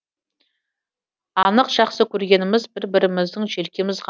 анық жақсы көргеніміз бір біріміздің желкеміз ғана